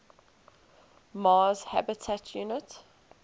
mars habitat unit